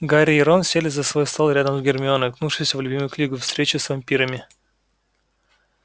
гарри и рон сели за свой стол рядом с гермионой уткнувшейся в любимую книжку встречи с вампирами